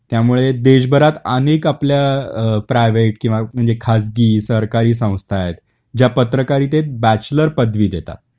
त्यामुळे देशभरात अनेक आपल्या अ प्रायवेट किंवा म्हणजे खासगी सरकारी संस्था आहेत ज्या पत्रकारितेत बॅचलर पदवी देता